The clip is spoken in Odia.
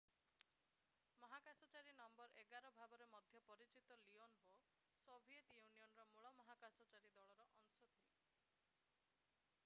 ମହାକାଶଚାରୀ ନଂ 11 ଭାବରେ ମଧ୍ୟ ପରିଚିତ ଲିଓନୋଭ୍ ସୋଭିଏତ୍ ୟୁନିଅନର ମୂଳ ମହାକାଶଚାରୀ ଦଳର ଅଂଶ ଥିଲେ